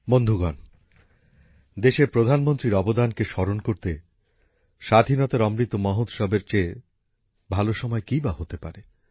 বন্ধুগণ দেশের প্রধানমন্ত্রীর অবদানকে স্মরণ করতে স্বাধীনতার অমৃত মহোৎসবের চেয়ে ভাল সময় কিই বা হতে পারে